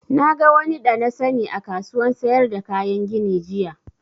Na ga wani da na sani a kasuwan sayar da kayan gini jiya